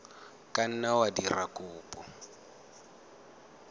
ka nna wa dira kopo